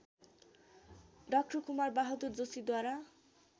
डा कुमारबहादुर जोशीद्वारा